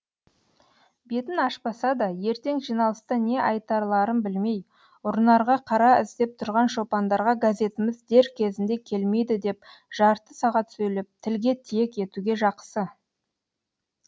бетін ашпаса да ертең жиналыста не айтарларын білмей ұрынарға қара іздеп тұрған шопандарға газетіміз дер кезінде келмейді деп жарты сағат сөйлеп тілге тиек етуге жақсы